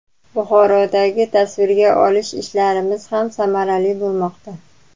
Buxorodagi tasvirga olish ishlarimiz ham samarali bo‘lmoqda.